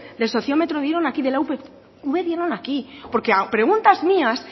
del sociómetro dieron aquí de la upv dieron aquí porque a preguntas mías